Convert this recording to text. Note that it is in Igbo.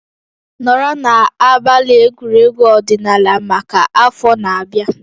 Nọrọ na abalị egwuregwu ọdịnala maka afọ na-abịa